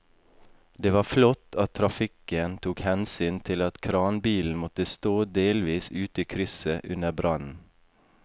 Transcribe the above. Det var flott at trafikken tok hensyn til at kranbilen måtte stå delvis ute i krysset under brannen.